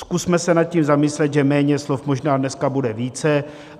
Zkusme se nad tím zamyslet, že méně slov možná dneska bude více.